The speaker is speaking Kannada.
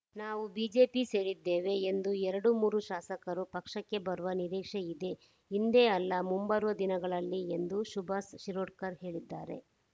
ನಾವು ಬಿಜೆಪಿ ಸೇರಿದ್ದೇವೆಎಂದು ಎರಡು ಮೂರು ಶಾಸಕರು ಪಕ್ಷಕ್ಕೆ ಬರುವ ನಿರೀಕ್ಷೆ ಇದೆ ಇಂದೇ ಅಲ್ಲ ಮುಂಬರುವ ದಿನಗಳಲ್ಲಿ ಎಂದು ಸುಭಾಷ್‌ ಶಿರೋಡ್ಕರ್‌ಹೇಳಿದ್ದಾರೆ